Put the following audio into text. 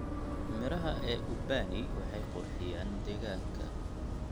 Midhaha ee ubani waxay qurxiyaan deegaanka.